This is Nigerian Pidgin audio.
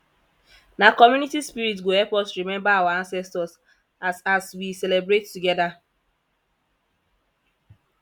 na community spirit go help us remember our ancestors as as we celebrate together